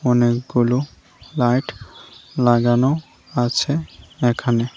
অনেকগুলো লাইট লাগানো আছে এখানে।